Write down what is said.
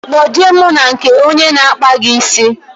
Kpo je mụ na nke onye n'akpa gi ísì